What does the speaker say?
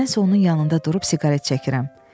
Mən isə onun yanında durub siqaret çəkirəm.